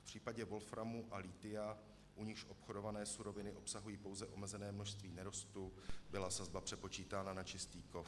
V případě wolframu a lithia, u nichž obchodované suroviny obsahují pouze omezené množství nerostu, byla sazba přepočítána na čistý kov.